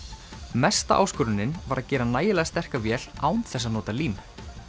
mesta áskorunin var að gera nægilega sterka vél án þess að nota lím